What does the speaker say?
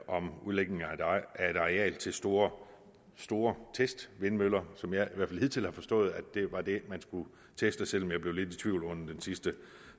om udlægning af et areal til store store testvindmøller som jeg i hvert fald hidtil har forstået var det man skulle teste selv om jeg blev lidt i tvivl under den sidste